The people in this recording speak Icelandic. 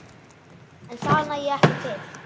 En það nægi ekki til.